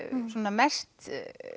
mesti